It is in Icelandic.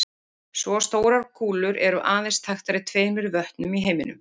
Svo stórar kúlur eru aðeins þekktar í tveimur vötnum í heiminum.